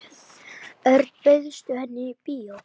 Örn, bauðstu henni í bíó?